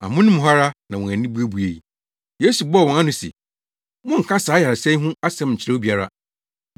Amono mu hɔ ara na wɔn ani buebuei. Yesu bɔɔ wɔn ano se, “Monnka saa ayaresa yi ho asɛm nkyerɛ obiara.”